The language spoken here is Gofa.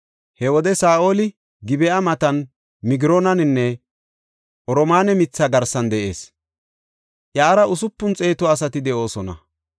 He wode Saa7oli Gib7a matan Migroonan, oromaane mitha garsan de7ees. Iyara usupun xeetu asati de7oosona.